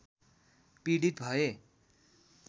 पीडित भए